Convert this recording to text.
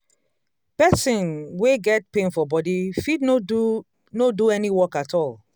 person wey get pain for body fit no do no do any work at all